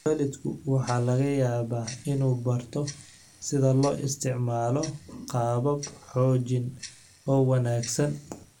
Waalidku waxa laga yaabaa inuu barto sida loo isticmaalo qaabab xoojin oo wanaagsan.